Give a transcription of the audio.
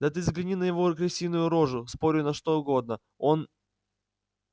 да ты взгляни на его крысиную рожу спорю на что угодно он